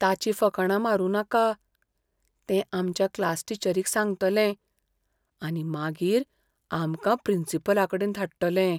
ताची फकांडां मारूं नाका. तें आमच्या क्लासटीचरीक सांगतलें आनी मागीर आमकां प्रिंसिपलाकडेन धाडटले.